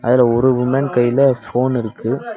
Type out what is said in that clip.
அதுல ஒரு உமன் கைல ஃபோன் இருக்கு.